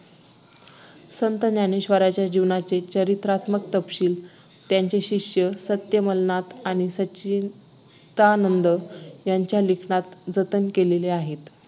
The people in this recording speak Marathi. संत ज्ञानेश्वरांच्या जीवनाचे चरित्रात्मक तपशील त्यांचे शिष्य सत्यमलनाथ आणि सच्चीदानंद यांच्या लिखाणात जतन केलेलं आहे